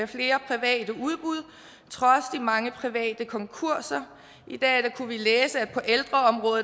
flere private udbud trods de mange private konkurser i dag kunne vi læse